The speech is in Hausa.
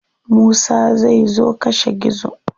Musa zai zo kashe gizo.